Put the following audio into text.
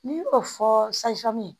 N'i y'o fɔ